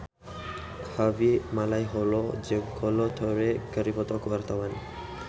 Harvey Malaiholo jeung Kolo Taure keur dipoto ku wartawan